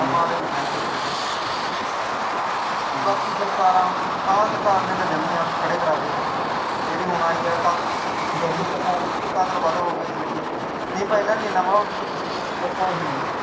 ਮਾੜ੍ਹੇ ਨੂੰ ਕਹਿੰਦੇ ਨੇ ਚੰਗਾ, ਬਾਕੀ ਸਰਕਾਰਾਂ ਹੁਣ, ਆਹ ਸਰਕਾਰ ਨੇ ਤਾਂ ਜਮਾ ਹੀ ਹੱਥ ਖੜ੍ਹੇ ਕਰਾ ਤੇ, ਜਿਹੜੀ ਹੁਣ ਆਈ ਆ ਕਤਲ ਵੱਧ ਹੋ ਗਏ ਇਸ ਚ ਨਹੀਂ ਪਹਿਲਾਂ ਨਹੀਂ ਐਨਾ ਮਾਹੌਲ ਸੀ, ਪਤਾ ਨਹੀਂ